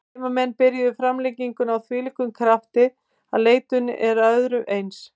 Heimamenn byrjuðu framlenginguna af þvílíkum krafti að leitun er að öðru eins.